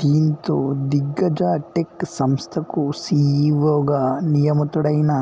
దీంతో దిగ్గజ టెక్ సంస్థకు సీఈవోగా నియమితుడైన